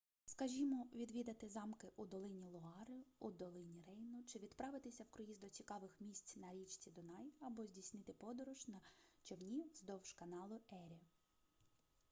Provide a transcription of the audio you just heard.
скажімо відвідати замки у долині луари у долині рейну чи відправитися в круїз до цікавих місць на річці дунай або здійснити подорож на човні вздовж каналу ері